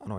Ano.